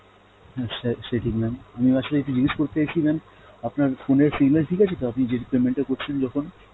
হ্যাঁ স~ সে ঠিক mam, আমি আসলে ইটা জিগেষ করতে অইচি mam আপনার phone এর signal ঠিক আছে তো আপনি যে~ payment টা করছেন যখন?